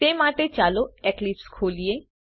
તે માટે ચાલો એક્લીપ્સ ખોલીએ